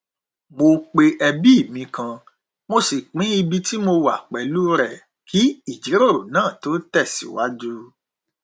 mo pe ẹbí mi kan mo sì pín ibi ti mo wà pẹlú rẹ kí ìjíròrò náà tó tẹsìwájú